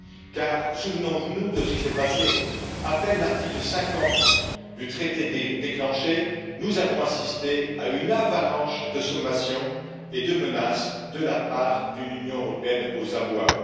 Car, souvenons nous de ce qui s'est passé à peine l'article 50 du traité déclenché, nous avons assisté à une avalanche de sommations et de menaces de la part d'une Union européenne aux abois.